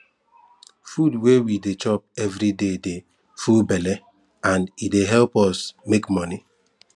food wey we de chop everyday de full belle and de help us make money